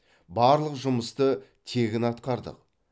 барлық жұмысты тегін атқардық